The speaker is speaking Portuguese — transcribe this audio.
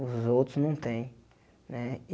Os outros não têm né.